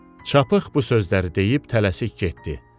Çapıq bu sözləri deyib tələsik getdi.